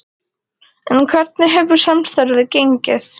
En hvernig hefur samstarfið gengið?